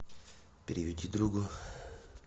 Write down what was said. переведи другу